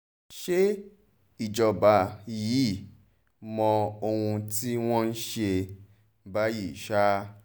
ṣe ìjọba yìí mọ ohun tí wọ́n ń ṣe báyìí ṣá